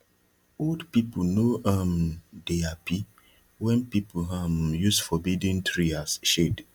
old people no um dey happy when people um use forbidden tree as shade